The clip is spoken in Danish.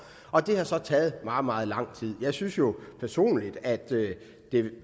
og det har så taget meget meget lang tid jeg synes jo personligt at det